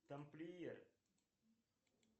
тамплиер